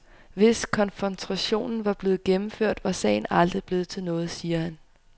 Hvis konfrontationen var blevet gennemført, var sagen aldrig blevet til noget, siger han.